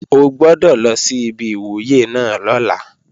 O gbọ́dọ̀ lọ sí ibi ìwúyè náà lọ́la!